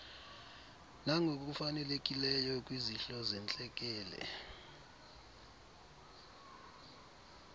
nangokufanelekileyo kwizihlo zentlekele